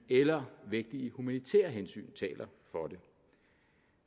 eller vægtige humanitære hensyn taler for det